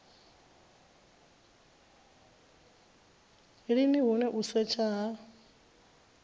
lini hune u setsha ha